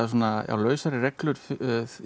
lausari reglur í